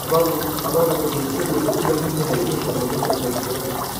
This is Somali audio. Abaabulka bulshadu wuxuu u baahan yahay inuu noqdo mid dhamaystiran.